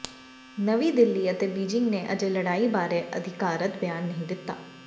ਨਵੀਂ ਦਿੱਲੀ ਅਤੇ ਬੀਜਿੰਗ ਨੇ ਅਜੇ ਲੜਾਈ ਬਾਰੇ ਅਧਿਕਾਰਤ ਬਿਆਨ ਨਹੀਂ ਦਿੱਤਾ ਹੈ